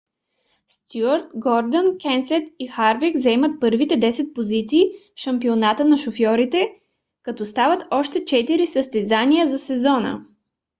стюарт гордън кенсет и харвик заемат първите десет позиции в шампионата на шофьорите като остават още четири състезания за сезона